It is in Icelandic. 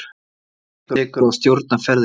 Það tekur að stjórna ferðinni.